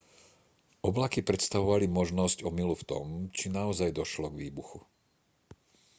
oblaky predstavovali možnosť omylu v tom či naozaj došlo k výbuchu